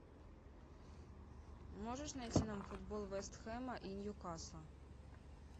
можешь найти нам футбол вест хэма и ньюкасла